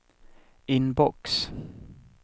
inbox